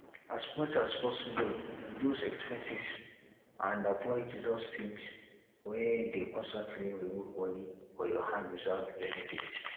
as much as possible reduce expenses and avoid those things wey dey constantly remove money for your hand without benefit